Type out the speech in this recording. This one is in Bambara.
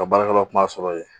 Ka baarakɛlaw kum'a sɔrɔ ye.